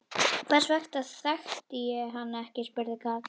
Hvers vegna þekkti ég hann ekki? spurði Karl.